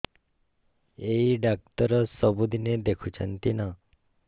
ଏଇ ଡ଼ାକ୍ତର ସବୁଦିନେ ଦେଖୁଛନ୍ତି ନା